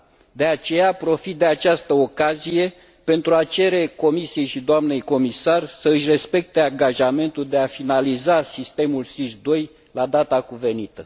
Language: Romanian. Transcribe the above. De aceea, profit de această ocazie pentru a cere Comisiei și doamnei comisar să își respecte angajamentul de a finaliza Sistemul SIS II la data cuvenită.